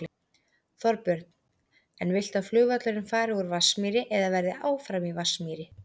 Þorbjörn: En viltu að flugvöllurinn fari úr Vatnsmýri eða verði áfram í Vatnsmýri?